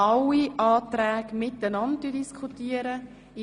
Ich möchte alle Anträge gemeinsam diskutieren lassen.